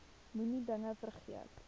moenie dinge vergeet